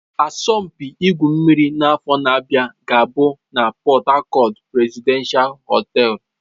Asọmpi igwu mmiri n'afọ na-abịa ga-abụ na Port Harcourt Presidential hotel.